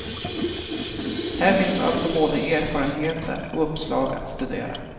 Här finns alltså både erfarenheter och uppslag att studera.